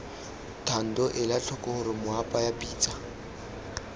thando elatlhoko gore moapaya pitsa